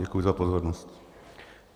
Děkuji za pozornost.